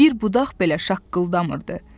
Bir budaq belə şaqqıldamırdı.